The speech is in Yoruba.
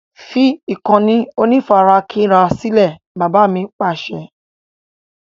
Fi ìkànnì onífarakínra sílẹ̀! Bàbá mi Pàṣẹ.